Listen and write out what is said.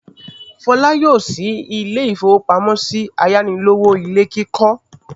Fọlá yóò ṣí ilé-ìfowópamọ́sí ayánilówó ilé kíkọ́.